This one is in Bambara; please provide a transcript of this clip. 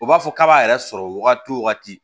U b'a fɔ k'a b'a yɛrɛ sɔrɔ wagati wo wagati